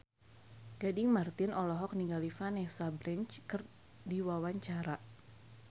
Gading Marten olohok ningali Vanessa Branch keur diwawancara